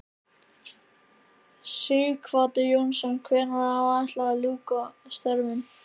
Sighvatur Jónsson: Hvenær er áætlað að hún ljúki störfum?